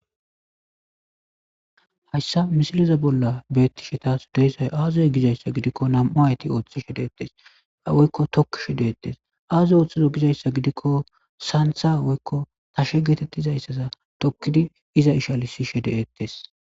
hayssa misileza bolla beetti shetas deyzay aazoy gizayssa gidikko nam7u hayti ooththe shedeettes a woykko tokkishe deettes aazoy ooththizo gizayssa gidikko saantha woykko tashe geetettizayssaza tokkidi iza ishalisi shede ettes